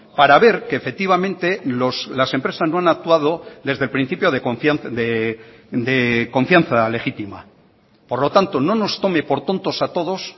para ver que efectivamente las empresas no han actuado desde el principio de confianza legítima por lo tanto no nos tome por tontos a todos